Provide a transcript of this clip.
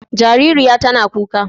Jaririya tana kuka.